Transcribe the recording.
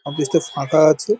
Office -টা ফাঁকা আছে ।